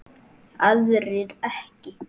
aðrir ekki